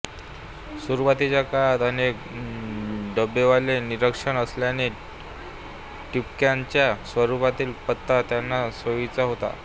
सुरुवातीच्या काळात अनेक डबेवाले निरक्षर असल्याने ठिपक्यांच्या स्वरूपातील पत्ता त्यांना सोईचा होता